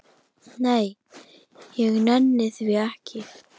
Nei, ég nenni því ekki